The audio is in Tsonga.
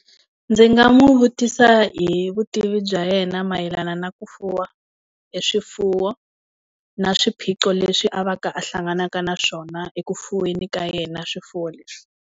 Ndzi nga n'wi vutisa hi vutivi bya yena mayelana na ku fuwa hi swifuwo, na swiphiqo leswi a va ka a hlanganaka na swona eku fuweni ka yena swifuwo leswi.